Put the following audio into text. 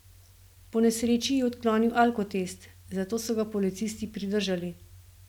Po nesreči je odklonil alkotest, zato so ga policisti pridržali.